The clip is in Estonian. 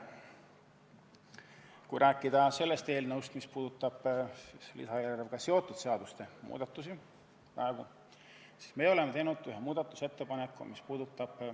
Kui rääkida sellest eelnõust, mis käsitleb lisaeelarvega seotud seaduste muudatusi, siis me oleme teinud ühe ettepaneku, mis puudutab ...